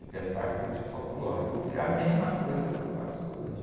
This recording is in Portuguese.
Espetáculo de folclore, o que, a mesma coisa que eu faço hoje.